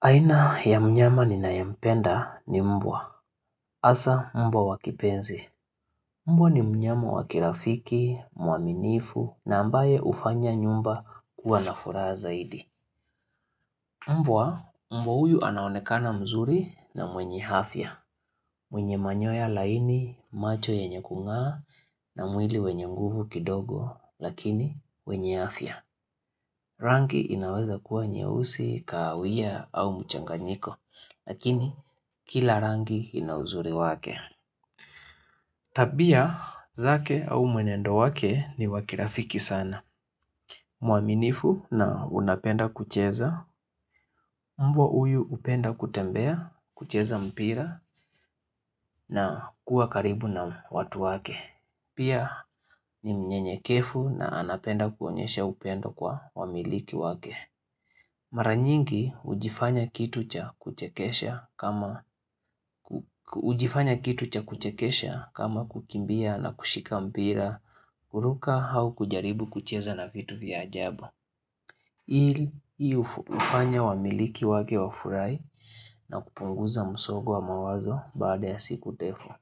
Aina ya mnyama ninayempenda ni mbwa. Asa mbwa wa kipenzi. Mbwa ni mnyama wakirafiki, mwaminifu na ambaye hufanya nyumba kuwa na furaha zaidi. Mbwa, mbwa huyu anaonekana mzuri na mwenye afya. Mwenye manyoya laini, macho yenye kung'aa na mwili wenye nguvu kidogo lakini wenye afya. Rangi inaweza kuwa nyeusi kahawia au mchanganyiko. Lakini, kila rangi ina uzuri wake. Tabia, zake au mwenendo wake ni wa kirafiki sana. Mwaminifu na unapenda kucheza, mbwa huyu hupenda kutembea, kucheza mpira na kuwa karibu na watu wake. Pia ni mnyenyekevu na anapenda kuonyesha upendo kwa wamiliki wake. Mara nyingi hujifanya kitu cha kuchekesha kama kukimbia na kushika mpira, kuruka au kujaribu kucheza na vitu vya ajabu. Hii hufanya wamiliki wake wafurahi na kupunguza msongo wa mawazo baada ya siku ndefu.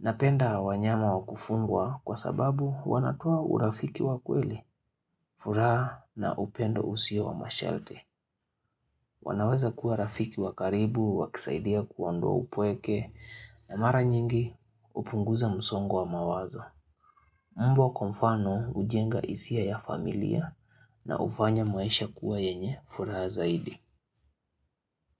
Napenda wanyama wa kufungwa kwa sababu wanatoa urafiki wa kweli, furaha na upendo usio wa masharti. Wanaweza kuwa rafiki wa karibu, wakisaidia kuoandoa upweke na mara nyingi hupunguza msongo wa mawazo. Mbwa kwa mfano hujenga hisia ya familia na hufanya maisha kuwa yenye furaha zaidi.